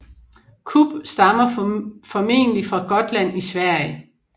Kubb stammer formodentlig fra Gotland i Sverige